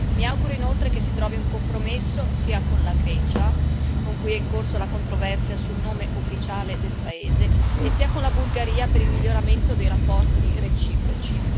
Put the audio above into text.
Mi auguro inoltre che si trovi un compromesso sia con la Grecia, con cui è in corso la controversia sul nome ufficiale del paese, sia con la Bulgaria per il miglioramento dei rapporti reciproci.